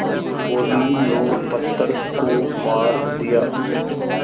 बोलीं लो पत्थर को मार दिया